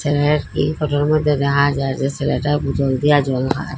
এ্যার এই ফটোর মধ্যে রাহা যায় যে সেলেটা বোতল দিয়া জল খায়।